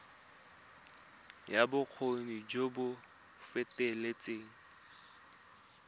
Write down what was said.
ya bokgoni jo bo feteletseng